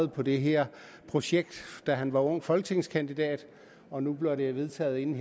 på det her projekt da han var ung folketingskandidat og nu bliver det jo vedtaget inden